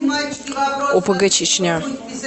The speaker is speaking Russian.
опг чечня